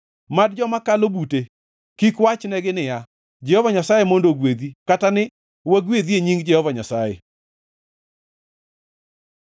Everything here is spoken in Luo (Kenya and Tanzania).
Mad joma kalo bute kik wachnegi niya, “Jehova Nyasaye mondo ogwedhi, kata ni, wagwedhi e nying Jehova Nyasaye.”